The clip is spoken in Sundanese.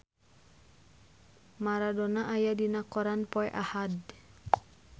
Maradona aya dina koran poe Ahad